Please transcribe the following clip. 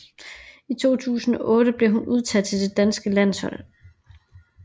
I år 2008 blev hun udtaget til det danske landshold